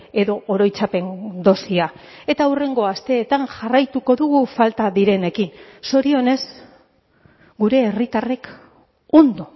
edo oroitzapen dosia eta hurrengo asteetan jarraituko dugu falta direnekin zorionez gure herritarrek ondo